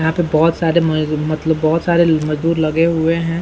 यहाँ पे बहुत सारे मजदूर मतलब बहुत सारे मजदूर लगे हुए हैं।